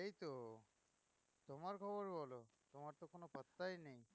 তোমার খবর বলো, তোমার তো কোনো পাত্তাই নেই